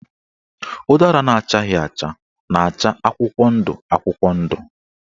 Ụdara na-achaghị acha na-acha akwụkwọ ndụ akwụkwọ ndụ.